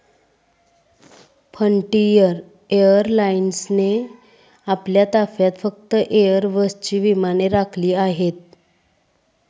Frontier एअरलाइन्सने आपल्या ताफ्यात फक्त एयरबसची विमाने राखिली आहेत.